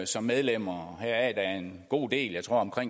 som medlemmer hvoraf en god del jeg tror